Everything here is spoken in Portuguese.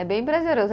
É bem prazeroso.